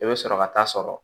I bɛ sɔrɔ ka taa sɔrɔ